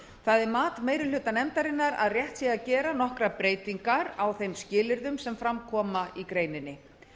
er mat meiri hluta nefndarinnar að rétt sé að gera nokkrar breytingar á þeim skilyrðum sem fram koma í greininni